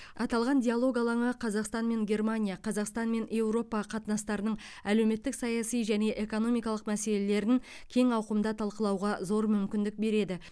аталған диалог алаңы қазақстан мен германия қазақстан мен еуропа қатынастарының әлеуметтік саяси және экономикалық мәселелерін кең ауқымда талқылауға зор мүмкіндік береді